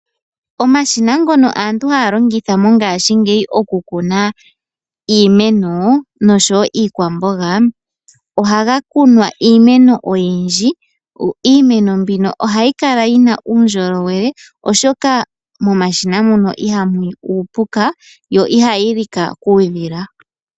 Omashina ngono aantu haya longitha mongashingeyi okukuna iimeno nosho wo iikwamboga, ohaga kunwa iimeno oyindji. Iimeno mbino ohayi kala yina uundjolowele oshoka momashina muno ihamu yi uupuka yo ihayi lika kuudhila.